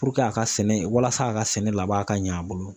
a ka sɛnɛ walasa a ka sɛnɛ laban ka ɲɛ a bolo.